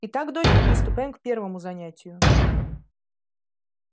и так дочка приступаем к первому занятию